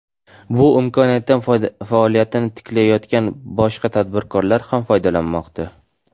Bu imkoniyatdan faoliyatini tiklayotgan boshqa tadbirkorlar ham foydalanmoqda.